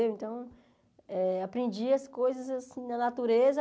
Então, eh aprendi as coisas assim na natureza.